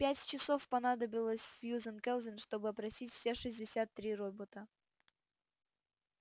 пять часов понадобилось сьюзен кэлвин чтобы опросить все шестьдесят три робота